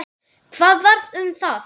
Hvað varð um það?